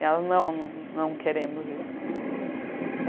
E elas não, não queremos isso.